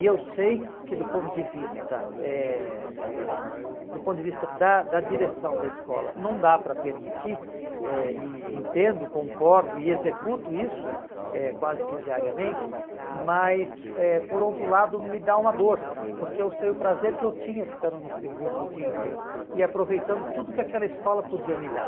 E eu sei que do ponto de vista eh eh do ponto de vista da da direção da escola não dá para permitir, eh e entendo, concordo e executo isso eh quase que diariamente, mas eh por outro lado me dá uma dor, porque eu sei o prazer que eu tinha ficando no Friburgo o dia inteiro e aproveitando tudo que aquela escola podia me dar.